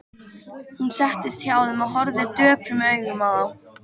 Hún settist hjá þeim og horfði döprum augum á þá.